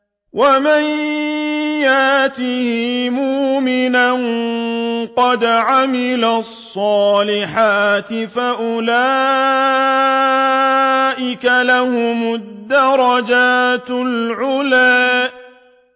وَمَن يَأْتِهِ مُؤْمِنًا قَدْ عَمِلَ الصَّالِحَاتِ فَأُولَٰئِكَ لَهُمُ الدَّرَجَاتُ الْعُلَىٰ